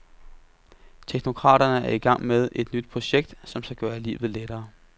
Teknokraterne er i gang med et nyt projekt, som skal gøre livet lettere, .